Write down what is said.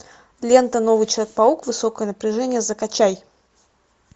лента новый человек паук высокое напряжение закачай